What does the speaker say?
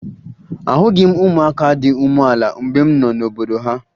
Ahụghị m ụmụaka dị umeala mgbe m nọ n'obodo ha